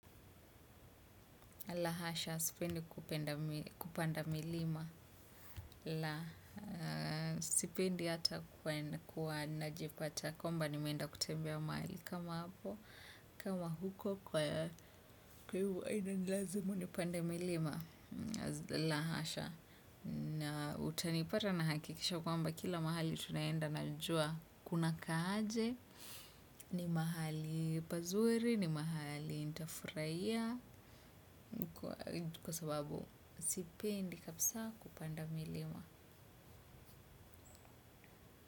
La hasha sipendi kupanda milima. La sipendi hata kuwa najipata kwamba nimeenda kutembea mahali kama hapo. Kama huko kwani inanilazimu nipande milima. La hasha. Na utanipata nahakikisha kwamba kila mahali tunaenda naijua kunakaaje. Ni mahali pazuri, ni mahali nita furaia kwa sababu sipendi kabisa kupanda milima.